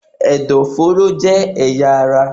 Ẹ̀dọ̀-fóró jẹ́ ẹ̀yà ara